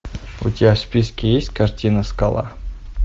у тебя в списке есть картина скала